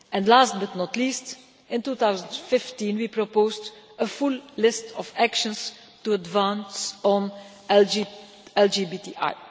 Last but not least, in 2015 we proposed a full list of actions to advance on LGBTI.